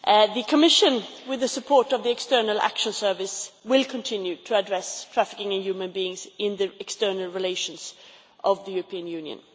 The Commission, with the support of the External Action Service, will continue to address human trafficking in the external relations of the European Union.